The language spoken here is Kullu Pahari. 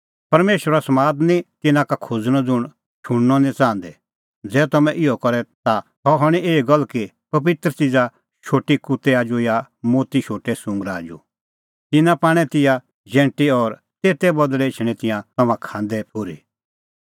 परमेशरो समाद निं तिन्नां का खोज़णअ ज़ुंण शुणनअ निं च़ाहंदै ज़ै तम्हैं इहअ करे ता सह हणीं एही गल्ल कि पबित्र च़िज़ा शोटी कुत्तै आजू या मोती शोटै सुंगरा आजू तिन्नां पाणै तिंयां जैंटी और तेते बदल़ै एछणैं तिंयां तम्हां खांदै ठुर्ही